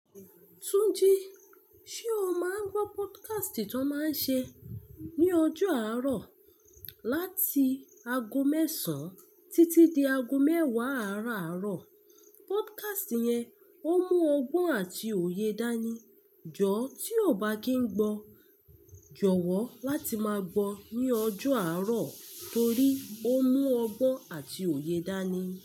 Túnjí, ṣe o máa ń gbọ́ podcast tó máa ń ṣe ní ọjọ́ àárọ̀ láti ago mẹ́sàn títí di ago mẹ́wàá àáràárọ̀? Podcast yẹn ó mú ọgbọ́n àti òye dání. Jọ̀ tí o ò bá kí ń gbọ́, jọ̀wọ́ láti máa gbọ́ ní ọjọ́ àárọ̀ torí ó mú ọgbọ́n àti òye dání.